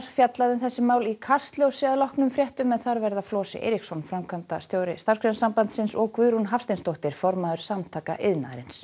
fjallað um þessi mál í Kastljósi að loknum fréttum þar verða Flosi Eiríksson framkvæmdastjóri Starfsgreinasambandsins og Guðrún Hafsteinsdóttir formaður Samtaka iðnaðarins